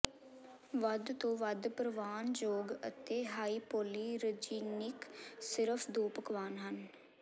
ਵੱਧ ਤੋਂ ਵੱਧ ਪ੍ਰਵਾਨਯੋਗ ਅਤੇ ਹਾਈਪੋਲੀਰਜੀਨਿਕ ਸਿਰਫ ਦੋ ਪਕਵਾਨ ਹਨ